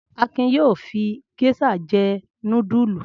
Akin yóò fi géíṣà jẹ́ núdúlù.